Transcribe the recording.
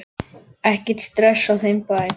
Ekkert stress á þeim bæ.